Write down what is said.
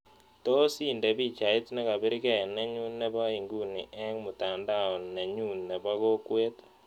Tos' indee biichait negabir gee nenyuun ne po inguni eng' mutandao nenyun ne po kokwet